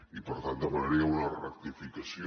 i per tant demanaria una rectificació